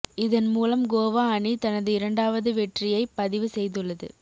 இதன் மூலம் கோவா அணி தனது இரண்டாது வெற்றியை பதிவு செய்துள்ளது